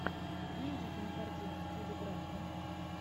найди кинокартину в стиле драмы